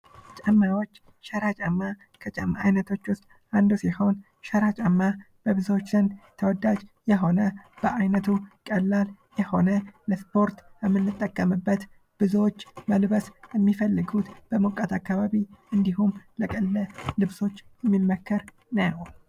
ጫማዎች ሸራ ጫማ ከጫማ አይነቶች ዉሰጥ አንዱ ሲሆን ሸራ ጫማ በብዙዎች ዘንድ ተወዳጅ የሆነ በአይነቱ ቀላል የሆነ ለስፖርት የምንጠቀምበት ብዙዎች መልበስ የሚፈልጉት በሞቃት አካባቢ አሰንደመሁም ለደህንነት የሚመከር ነዉ።